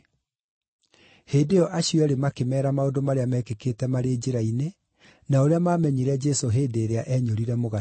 Hĩndĩ ĩyo acio eerĩ makĩmeera maũndũ marĩa meekĩkĩte marĩ njĩra-inĩ, na ũrĩa maamenyire Jesũ hĩndĩ ĩrĩa eenyũrire mũgate.